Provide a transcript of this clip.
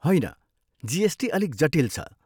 होइन जिएसटी अलिक जटिल छ।